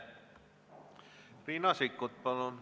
Riina Sikkut, palun!